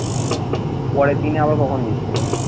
পরের দিনে আবার কখন miss ছিল।